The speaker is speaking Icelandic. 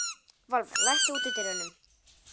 Valva, læstu útidyrunum.